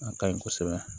A kaɲi kosɛbɛ